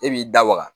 E b'i da waga